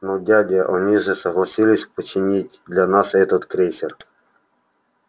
но дядя они же согласились починить для нас этот крейсер